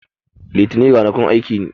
Litanin rana kun aiki ne